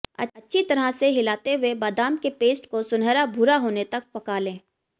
अच्छी तरह से हिलाते हुए बादाम के पेस्ट को सुनहरा भूरा होने तक पका लें